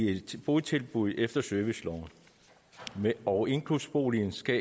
et botilbud efter serviceloven og inklusionsboligen skal